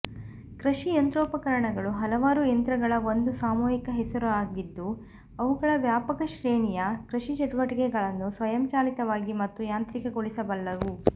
ಕೃಷಿ ಯಂತ್ರೋಪಕರಣಗಳು ಹಲವಾರು ಯಂತ್ರಗಳ ಒಂದು ಸಾಮೂಹಿಕ ಹೆಸರುಯಾಗಿದ್ದು ಅವುಗಳು ವ್ಯಾಪಕ ಶ್ರೇಣಿಯ ಕೃಷಿ ಚಟುವಟಿಕೆಗಳನ್ನು ಸ್ವಯಂಚಾಲಿತವಾಗಿ ಮತ್ತು ಯಾಂತ್ರಿಕಗೊಳಿಸಬಲ್ಲವು